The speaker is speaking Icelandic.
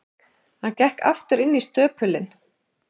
Hann gekk aftur inn í stöpulinn.